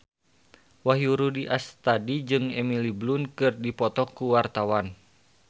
Wahyu Rudi Astadi jeung Emily Blunt keur dipoto ku wartawan